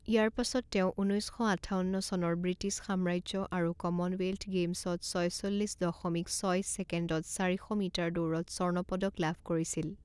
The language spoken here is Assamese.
ইয়াৰ পাছত তেওঁ ঊনৈছ শ আঠাৱন্ন চনৰ ব্ৰিটিছ সাম্ৰাজ্য আৰু কমনৱেল্থ গেইমছত ছয়চল্লিছ দশমিক ছয় ছেকেণ্ডত চাৰি শ মিটাৰ দৌৰত স্বৰ্ণ পদক লাভ কৰিছিল।